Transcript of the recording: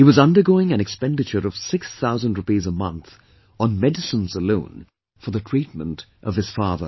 He was undergoing an expenditure of six thousand rupees a month on medicines alone for the treatment of his father